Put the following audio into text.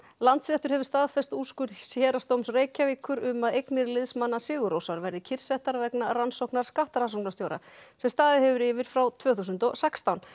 Landsréttur hefur staðfest úrskurð Héraðsdóms Reykjavíkur um að eignir liðsmanna sigur Rósar verði kyrrsettar vegna rannsóknar skattrannsóknarstjóra sem staðið hefur yfir frá tvö þúsund og sextán